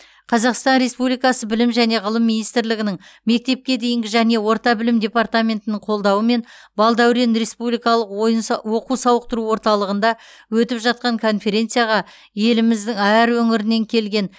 қазақстан республикасы білім және ғылым министрлігінің мектепке дейінгі және орта білім департаментінің қолдауымен балдәурен республикалық ойын са оқу сауықтыру орталығында өтіп жатқан конференцияға еліміздің әр өңірінен келген